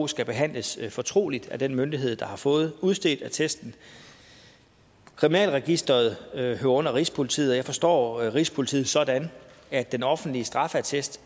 skal behandles fortroligt af den myndighed der har fået udstedt attesten kriminalregisteret hører under rigspolitiet og jeg forstår rigspolitiet sådan at den offentlige straffeattest